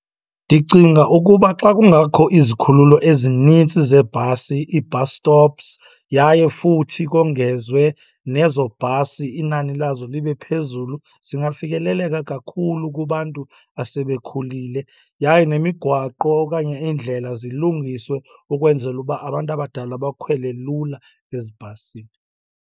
Ndicinga ukuba xa kungakho izikhululo ezinintsi zeebhasi, ii-bus stops, yaye futhi kongezwe nezo bhasi, inani lazo libe phezulu, zingafikeleleka kakhulu kubantu asebekhulile. Yaye nemigwaqo okanye iindlela zilungiswe ukwenzela uba abantu abadala bakhwele lula ezibhasini.